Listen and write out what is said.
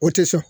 O tɛ sɔn